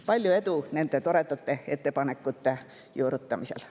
Palju edu nende toredate ettepanekute juurutamisel!